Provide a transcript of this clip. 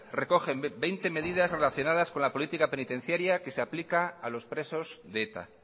recogen veinte medidas relacionadas con la política penitenciaria que se aplica a los presos de eta